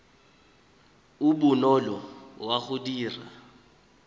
o bonolo wa go dira